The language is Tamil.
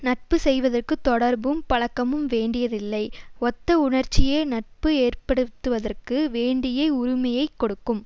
நட்பு செய்வதற்கு தொடர்பும் பழக்கமும் வேண்டியதில்லை ஒத்த உணர்ச்சியே நட்பு ஏற்படுத்துவதற்கு வேண்டியை உரிமையை கொடுக்கும்